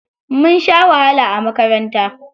Mun sha wahala a makaranta.